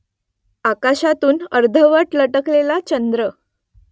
आकाशातून अर्धवट लटकलेला चंद्र